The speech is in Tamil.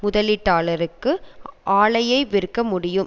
முதலீட்டாளருக்கு ஆலையை விற்க முடியும்